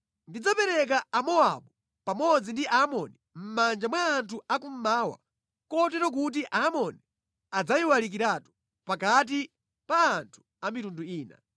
Ndidzapereka Amowabu pamodzi ndi Aamoni mʼmanja mwa anthu akummawa kotero kuti Aamoni adzayiwalikiratu pakati pa anthu a mitundu ina.